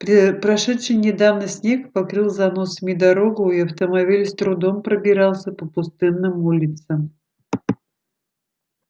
прошедший недавно снег покрыл заносами дорогу и автомобиль с трудом пробирался по пустынным улицам